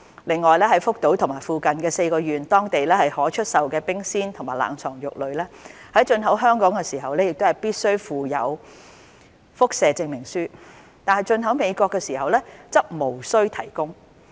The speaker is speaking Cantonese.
另外，在福島和附近4縣當地可出售的冰鮮和冷藏肉類，在進口香港時必須附有輻射證明書，但進口美國時則無須提供。